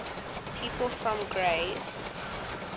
people from grays